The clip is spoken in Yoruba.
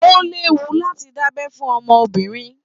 O léwu láti da'bẹ fún obìnrin.